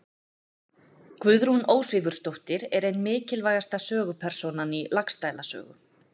Guðrún Ósvífursdóttir er ein mikilvægasta sögupersónan í Laxdæla sögu.